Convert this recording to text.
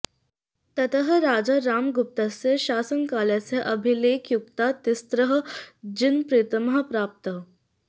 ततः राजा रामगुप्तस्य शासनकालस्य अभिलेखयुक्ताः तिस्रः जिनप्रतिमाः प्राप्ताः